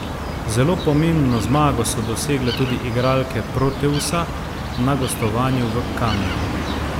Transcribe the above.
Zelo pomembno zmago so dosegle tudi igralke Proteusa na gostovanju v Kamniku.